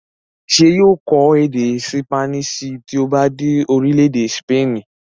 ṣé yóò kọ́ èdè ṣípánísì tí ó bá dé orílẹ̀-èdè sípènì?